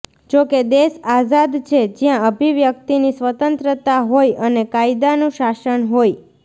જોકે દેશ આઝાદ છે જ્યાં અભિવ્યક્તિની સ્વતંત્રતા હોય અને કાયદાનું શાસન હોય